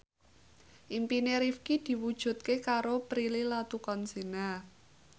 impine Rifqi diwujudke karo Prilly Latuconsina